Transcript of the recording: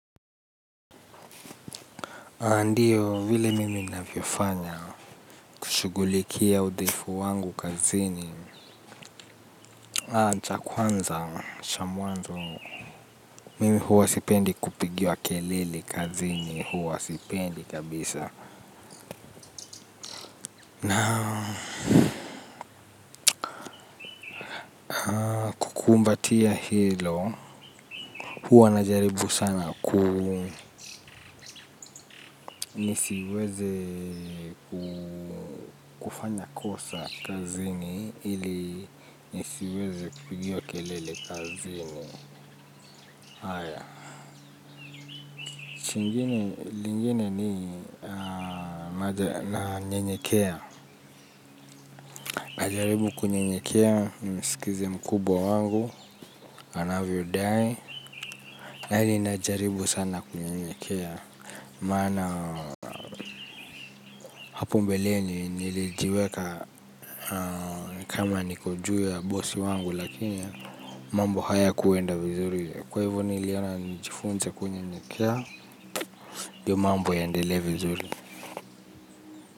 Ndiyo vile mimi ninavyofanya kushugulikia udhaifu wangu kazini. Acha kwanza, cha mwanzo. Mimi huwa sipendi kupigiwa kelele kazini, huwa sipendi kabisa. Kumbatia hilo, huwa najaribu sana kuu nisiweze kufanya kosa kazini ili nisiweze kupigiwa kelele kazini. Lingine ni, nanyenyekea. Najaribu kunyenyekea, nisikize mkubwa wangu, anavyodai. Na hili najaribu sana, kunyenyekea. Maana, hapo mbeleni, nilijiweka ni kama niko juu ya bosi wangu, lakini mambo hayakuenda vizuri. Kwa hivyo niliona nijifunze kunyenyekea, ndiyo mambo yaendelee vizuri.